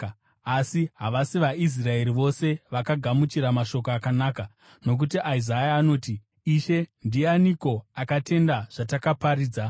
Asi havasi vaIsraeri vose vakagamuchira mashoko akanaka. Nokuti Isaya anoti, “Ishe, ndianiko akatenda zvatakaparidza?”